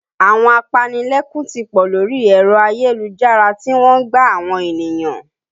Àwọn apanilẹ́kún ti pọ̀ lórí èrọ ayélujára tí wọ́n ń gbá àwọn ènìyàn